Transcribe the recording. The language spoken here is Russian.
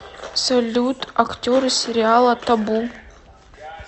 салют актеры сериала табу